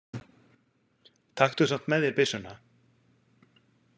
Taktu samt með þér byssuna.